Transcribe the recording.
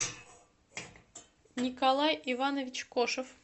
николай иванович кошев